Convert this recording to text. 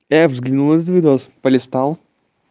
я взглянул этот видос полистал